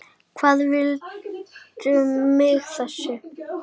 Hvað viltu með þessu?